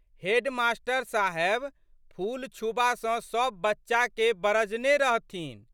Head मा.साहेब फूल छूबासँ सब बच्चाके बरजने रहथिन।